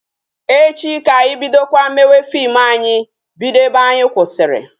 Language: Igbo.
Echi ka anyị bidokwa mewe fim anyị bido ebe anyị kwụsịrị